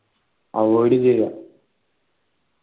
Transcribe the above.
avoid ചെയ